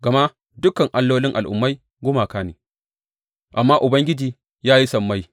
Gama dukan allolin al’ummai gumaka ne, amma Ubangiji ya yi sammai.